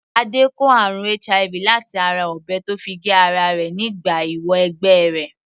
Adé kó àrùn HIV láti ara ọ̀bẹ tó fi gé ara rẹ̀ nígbà ìwọ - ẹgbẹ́ rẹ̀.